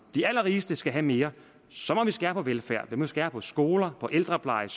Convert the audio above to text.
de allerrigeste skal have mere så må vi skære på velfærd vi må skære på skoler på ældrepleje